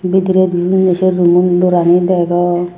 bidirendi uno se room mun door ani degong.